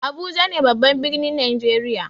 Abuja ne babban birnin najeriya.